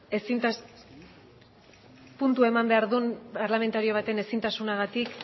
puntua eman behar duen parlamentario baten ezintasunagatik